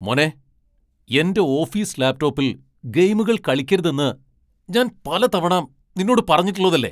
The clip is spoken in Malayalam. മോനെ, എന്റെ ഓഫീസ് ലാപ് ടോപ്പിൽ ഗെയിമുകൾ കളിക്കരുതെന്ന് ഞാൻ പല തവണ നിന്നോട് പറഞ്ഞിട്ടുള്ളതല്ലേ?